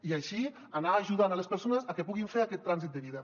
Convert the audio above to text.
i així anar ajudant les persones a que puguin fer aquest trànsit de vida